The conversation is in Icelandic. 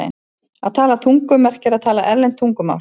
Að tala tungum merkir að tala erlend tungumál.